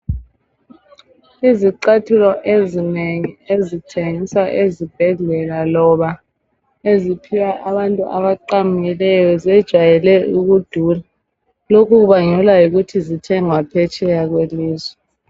Izicathulo ezinengi ezithengiswa ezibhedlela loba eziphiwa abantu abaqamukileyo zejayele ukudura lokhu kubangelwa yikuthi zithengwa phetsheya kwelizwe.